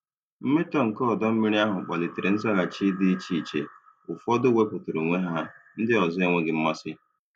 Mmetọ nke ọdọ mmiri ahụ kpalitere nzaghachi dị iche iche—ụfọdụ wepụtara onwe ha, ndị ọzọ enweghị mmasị.